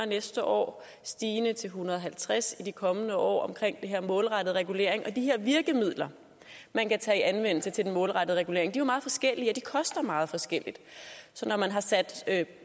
næste år stigende til en hundrede og halvtreds i de kommende år omkring den her målrettede regulering og de her virkemidler man kan anvende til den målrettede regulering er jo meget forskellige og de koster meget forskelligt så når man har sat